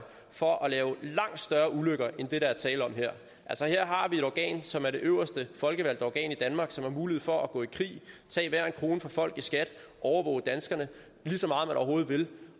for at lave langt større ulykker end det der er tale om her altså her har vi et organ som er det øverste folkevalgte organ i danmark som har mulighed for at gå i krig tage hver en krone fra folk i skat overvåge danskerne lige så meget man overhovedet vil